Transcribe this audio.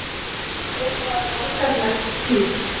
er bara borgaralegt píp.